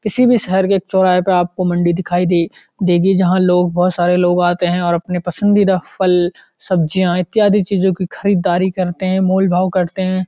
किसी भी शहर के एक चौराहे पर आपको मंडी दिखाई दे देगी जहाँ लोग बहुत सारे लोग आते हैं और अपने पसंदीदा फल सब्जियाँ इत्यादि चीजों की खरीददारी करते हैं मूल भाव करते हैं।